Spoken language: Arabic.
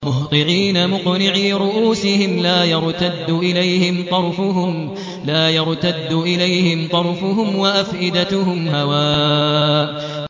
مُهْطِعِينَ مُقْنِعِي رُءُوسِهِمْ لَا يَرْتَدُّ إِلَيْهِمْ طَرْفُهُمْ ۖ وَأَفْئِدَتُهُمْ هَوَاءٌ